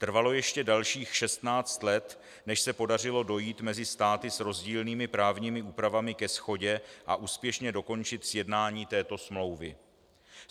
Trvalo ještě dalších 16 let, než se podařilo dojít mezi státy s rozdílnými právními úpravami ke shodě a úspěšně dokončit sjednání této smlouvy.